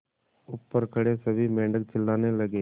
ऊपर खड़े सभी मेढक चिल्लाने लगे